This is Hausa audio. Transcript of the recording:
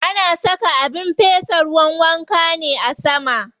Ana saka abin fesa ruwan wanka ne a sama.